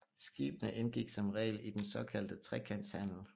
Skibene indgik som regel i den såkaldte trekantshandel